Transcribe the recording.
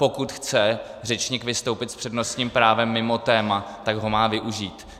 Pokud chce řečník vystoupit s přednostním právem mimo téma, tak ho má využít.